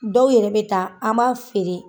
Dɔw yɛrɛ bɛ taa an m'a feere.